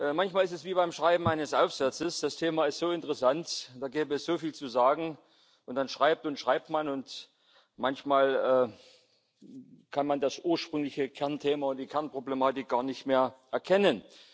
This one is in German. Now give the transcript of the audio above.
Manchmal ist es wie beim Schreiben eines Aufsatzes Das Thema ist so interessant, da gäbe es so viel zu sagen, und dann schreibt und schreibt man, und manchmal kann man das ursprüngliche Kernthema und die Kernproblematik gar nicht mehr erkennen.